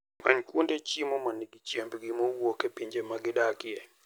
Many kuonde chiemo ma nigi chiembgi mowuok e pinje ma gidakie.